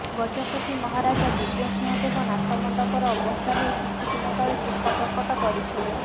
ଗଜପତି ମହାରାଜା ଦିବ୍ୟସିଂହ ଦେବ ନାଟମଣ୍ଡପର ଅବସ୍ଥା ନେଇ କିଛି ଦିନ ତଳେ ଚିନ୍ତା ପ୍ରକଟ କରିଥିଲେ